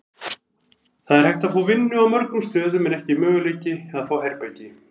Það er hægt að fá vinnu á mörgum stöðum en ekki möguleiki að fá herbergi.